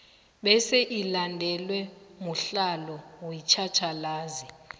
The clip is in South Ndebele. bese ilandelwe mudlalo wetjhatjhalazi